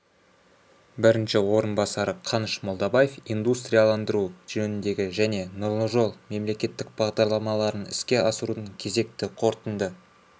бірінші орынбасары қаныш молдабаев индустрияландыру жөніндегі және нұрлы жол мемлекеттік бағдарламаларын іске асырудың кезекті қорытынды